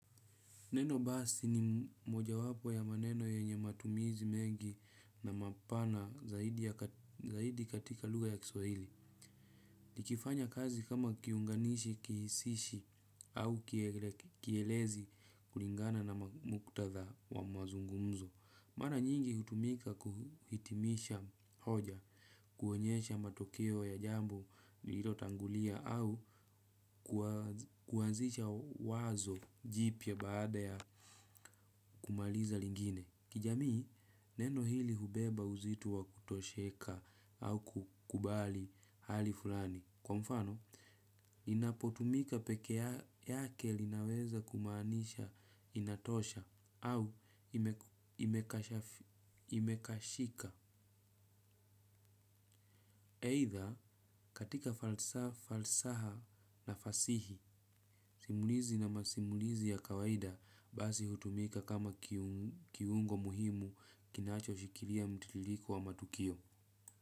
Neno basi ni mojawapo ya maneno yenye matumizi mengi na mapana zaidi katika lugha ya kiswahili. Nikifanya kazi kama kiunganishi kihishi au kielezi kulingana na muktadha wa mazungumzo. Mara nyingi hutumika kuhitimisha hoja, kuonyesha matokeo ya jambo lilotangulia au kuwazisha wazo jipya baada ya kumalizia lingine. Kijamii, neno hili hubeba uzito wa kutosheka au kukubali hali fulani. Kwa mfano, inapotumika peke yake linaweza kumaanisha inatosha au imekashika. Eitha katika falsaha na fasihi simulizi na masimulizi ya kawaida basi hutumika kama kiungo muhimu kinachoshikilia mtililiko wa matukio.